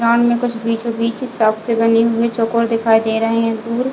ground में कुछ बीचो-बीच चॉक से बनी हुई चोकोल दिखाई दे रहे है दूर--